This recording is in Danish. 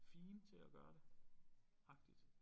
Fine til at gøre det agtigt